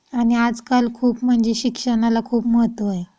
आणि आज काल खूप म्हणजे शिक्षणाला खूप महत्त्व आहे.